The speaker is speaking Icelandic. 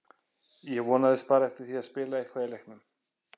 Ég vonaðist bara eftir því að spila eitthvað í leiknum.